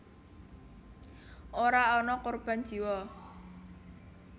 Ora ana korban jiwa